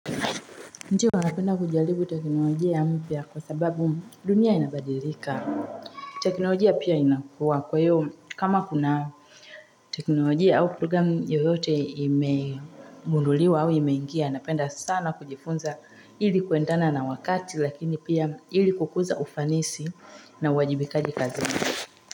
Ndiyo napenda kujalibu teknolojia mpya kwa sababu dunia inabadilika. Teknolojia pia inakua kwa hiyo kama kuna teknolojia au program yoyote imegunduliwa au imeingia. Napenda sana kujifunza hili kuendana na wakati lakini pia hili kukuza ufanisi na uwajibikaji kazini.